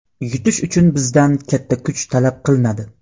Yutish uchun bizdan katta kuch talab qilinadi.